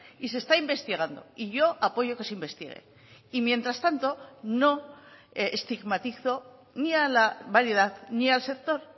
y se está investigando y yo apoyo que se investigue y mientras tanto no estigmatizo ni a la variedad ni al sector